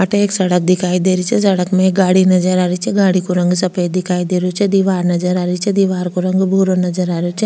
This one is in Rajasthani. अठे एक सड़क दिखाई दे रही छे सड़क में एक गाड़ी नजर आ रही छे गाड़ी को रंग को रंग सफ़ेद दिखाई दे रो छे दिवार नजर आ री छे दीवार को रंग भूरो नजर आ रेहो छे।